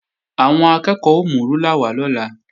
Àwọn akẹ́ẹ̀kọ́ ó mú rúlà wá lọ́la